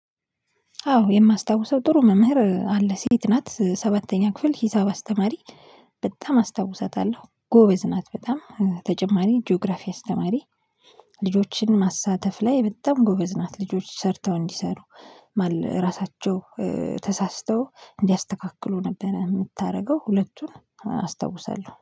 አዎ የማስታውሰው ጥሩ መምህር አለ ሴት ናት ሰባተኛ ክፍል ሂሳብ አስተማሪ። በጣም አስታውሳታለሁ ጎበዝ ናት በጣም ተጨማሪ ጂኦግራፊ አስተማሪ። ልጆችን ማሳተፍ ላይ በጣም ጎበዝ ናት ልጆች ሰርተው እንዲሰሩ ማለት ራሳቸው ተሳስተው እንዲያስተካክሉ ነበር የምታደርገው ሁለቱን አስታውሳለሁ።